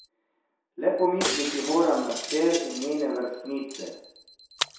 Le pomisliti moram na hčer in njene vrstnice.